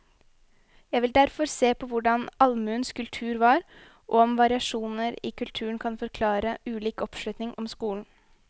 Jeg vil derfor se på hvordan allmuens kultur var, og om variasjoner i kulturen kan forklare ulik oppslutning om skolen.